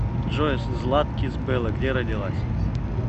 джой златкис белла где родилась